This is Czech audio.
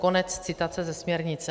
Konec citace ze směrnice.